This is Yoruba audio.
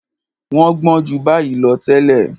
Wọ́n gbọ́n ju báyìí lọ tẹ́lẹ̀.